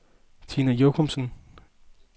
Tina Jochumsen